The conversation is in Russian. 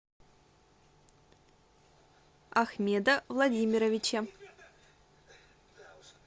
ахмеда владимировича